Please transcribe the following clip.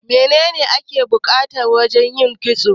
Me ne ne ake bukata wajan yin kitso?